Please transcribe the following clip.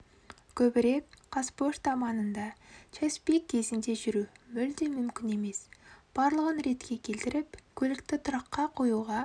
көбірек қазпошта маңында час-пик кезінде жүру мүлде мүмкін емес барлығын ретке келтіріп көлікті тұраққа қоюға